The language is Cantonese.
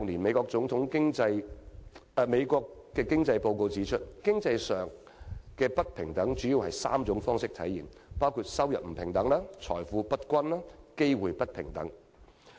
《美國總統經濟報告 ：2016 年》指出，經濟上的不平等主要以3種方式體現，即收入不平等、財富不平等，以及機會不平等。